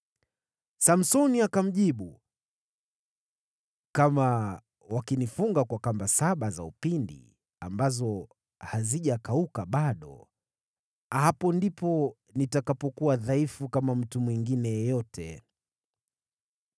Samsoni akamjibu, “Kama wakinifunga kwa kamba saba za upinde ambazo hazijakauka bado, hapo ndipo nitakapokuwa dhaifu kama mtu mwingine yeyote.”